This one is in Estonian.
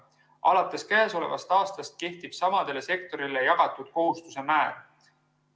Alates käesolevast aastast kehtib samadele sektoritele jagatud kohustuse määr.